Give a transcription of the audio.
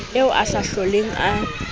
eo a sa hloleng a